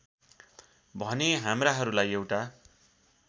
भने हाम्राहरूलाई एउटा